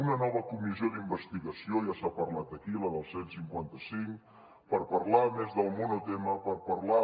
una nova comissió d’investigació ja s’ha parlat aquí de la del cent i cinquanta cinc per parlar més del monotema per parlar